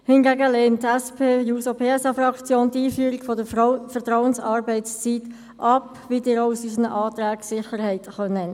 Hingegen lehnt die SP-JUSOPSA-Fraktion die Einführung der Vertrauensarbeitszeit ab, wie Sie das sicher auch unseren Anträgen haben entnehmen können.